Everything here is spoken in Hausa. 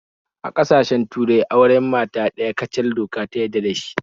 A kasashen turai auren mata ɗaya kacal doka ta yadda da dashi